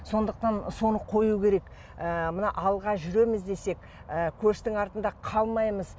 сондықтан соны қою керек ы мына алға жүреміз десек ы көштің артында қалмаймыз